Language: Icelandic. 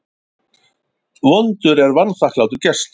Vondur er vanþakklátur gestur.